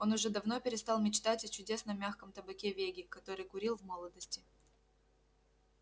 он уже давно перестал мечтать о чудесном мягком табаке веги который курил в молодости